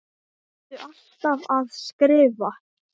Ertu alltaf að skrifa?